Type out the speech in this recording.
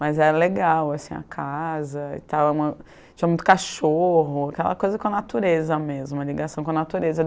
Mas era legal, assim, a casa e tal, uma, tinha muito cachorro, aquela coisa com a natureza mesmo, uma ligação com a natureza.